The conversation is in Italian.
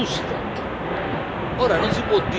E la Croazia è sulla strada giusta.